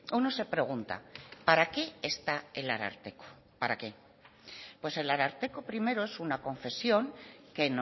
uno se pregunta para qué está el ararteko para qué pues el ararteko primero es una confesión que